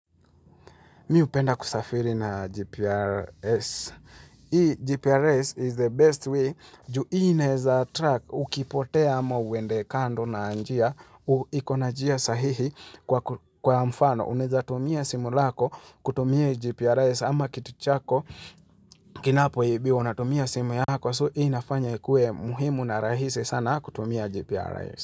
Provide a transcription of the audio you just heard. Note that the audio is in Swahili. Mi hupenda kusafiri naa GPRS. Hii GPRS is the best way ju hii inaeza truck ukipotea ama uende kando naa njia, u iko na njia sahihi kwa ku, kwa mfano. Unaeza tumia simu lako, kutumia GPRS ama kitu chako, kinapo ibiwa unatumia simu yako. So hii inafanya ikue muhimu na rahisi sana kutumia GPRS.